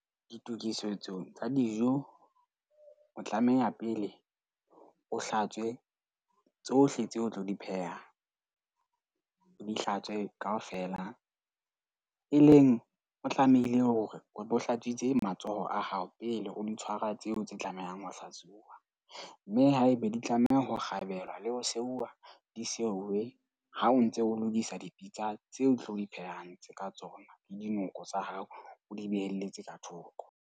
Ditokisetso tsa dijo. O tlameha pele o hlatswe tsohle tseo o tlo di pheha, o di hlatswe kaofela. E leng o tlamehile hore o bo hlatswitse matsoho a hao pele o di tshwara tseo tse tlamehang ho hlatsuwa. Mme haeba di tlameha ho kgabelwa le ho seuwa di seuwe ha o ntse o lokisa dipitsa tseo o tlo di phehang ka tsona. Le dinoko tsa hao o di beheletse ka thoko.